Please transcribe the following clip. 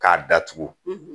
K'a datugu